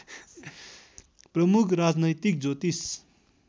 प्रमुख राजनैतिक ज्योतिष